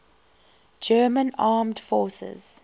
german armed forces